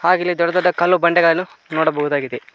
ಹಾಗೆ ಇಲ್ಲಿ ದೊಡ್ಡ ದೊಡ್ಡ ಕಲ್ಲು ಬಂಡೆಗಳನ್ನು ನೋಡಬಹುದಾಗಿದೆ.